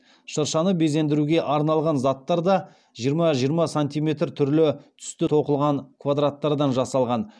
шыршаны безендіруге арналған заттар да жиырма жиырма сантиметр түрлі түсті тоқылған квадраттардан жасалған